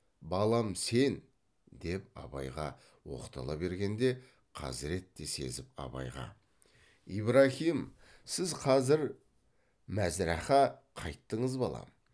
балам сен деп абайға оқтала бергенде хазірет те сезіп абайға ибраһим сіз қазір мәзрәхә қайттыңыз балам